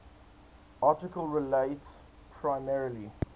article relates primarily